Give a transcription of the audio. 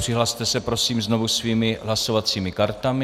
Přihlaste se prosím znovu svými hlasovacími kartami.